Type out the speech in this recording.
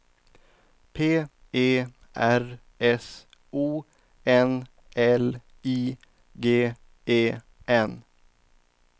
P E R S O N L I G E N